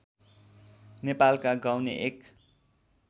नेपालका गाउने एक